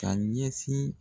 Ka ɲɛsin.